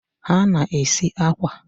ha na-esi akwa.